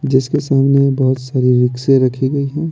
जिसके सामने बहुत सारी रिक्शें रखी गई हैं।